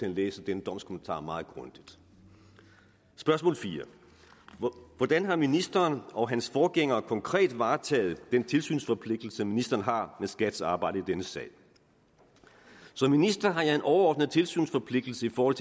at læse den domskommentar meget grundigt spørgsmål 4 hvordan har ministeren og hans forgænger konkret varetaget den tilsynsforpligtelse ministeren har med skats arbejde i denne sag som minister har jeg en overordnet tilsynsforpligtelse over